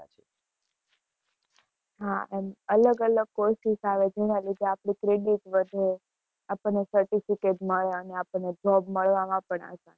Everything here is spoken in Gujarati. હા એમ અલગ અલગ courses જેના લીધે આપડી creatives વધે આપણને certificate મળે અને આપણને job મળવા માં પણ આસાની.